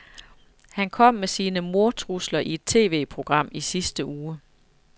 Han kom med sine mordtrusler i et TVprogram i sidste uge.